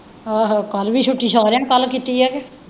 ਆਹੋ ਕੱਲ੍ਹ ਵੀ ਛੁੱਟੀ ਸਾਰਿਆਂ ਨੂੰ ਕੱਲ੍ਹ ਛੁੱਟੀ ਹੈ ਕ।